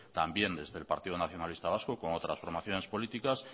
también desde el partido nacionalista vasco con otras formaciones políticas